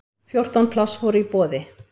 Fjórtán pláss voru í boði.